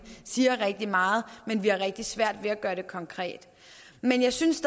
siger rigtig meget men vi har rigtig svært ved at gøre det konkret men jeg synes